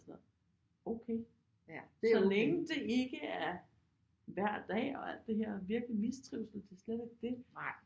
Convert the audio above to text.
Sådan noget okay så længe det ikke er hver dag og alt det her virkelig mistrivsel det er slet ikke det